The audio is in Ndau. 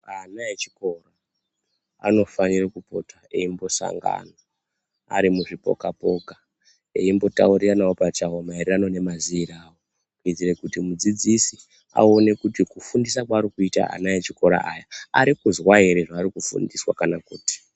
Ana echikora anofanire kupota eimbosangana arimuzvipoka poka eimbotauriranawo Pachawo maererano nemaziiro avo kuitire kuti mudzidzisi awone kuti kufundisa kwaarikuita ana echikora aya atikuzwa here kana kuti.